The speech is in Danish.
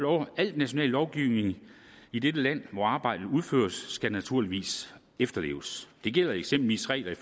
år al national lovgivning i det land hvor arbejdet udføres skal naturligvis efterleves det gælder eksempelvis regler